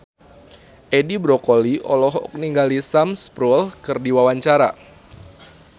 Edi Brokoli olohok ningali Sam Spruell keur diwawancara